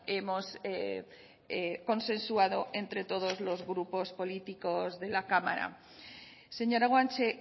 hemos consensuado entre todos los grupos políticos de la cámara señora guanche